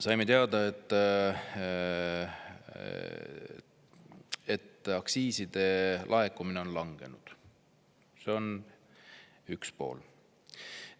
Saime teada, et aktsiiside laekumine on langenud, see on üks pool.